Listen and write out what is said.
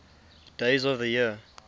days of the year